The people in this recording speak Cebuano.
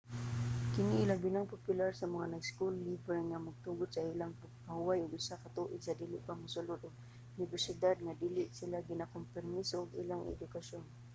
kini ilabinang popular sa mga school-leaver nga magtugot sa ilang magpahuway og usa ka tuig sa dili pa mosulod og unibersidad nga dili ginakompormiso ang ilang edukasyon